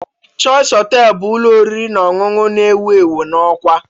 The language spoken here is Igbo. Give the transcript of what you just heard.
Choice Hotel bụ ụlọ oriri na ọṅụṅụ na-ewu ewu na Awka